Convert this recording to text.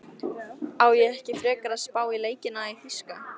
Á ég ekki frekar að spá í leikina í þýska?